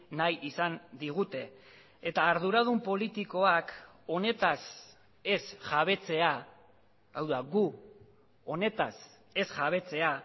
nahi izan digute eta arduradun politikoak honetaz ez jabetzea hau da gu honetaz ez jabetzea